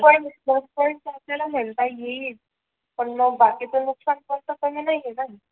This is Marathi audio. पण प्लस पोईंट आपल्याला तो म्हणता येईल पण मग बाकीचं नुकसान पण काही नाही ना आहे